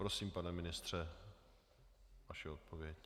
Prosím, pane ministře, vaše odpověď.